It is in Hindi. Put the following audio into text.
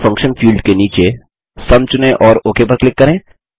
उसे फंक्शन फील्ड के नीचे सुम चुनें और ओक पर क्लिक करें